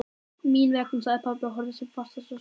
Mín vegna, sagði pabbi og horfði sem fastast á sjónvarpið.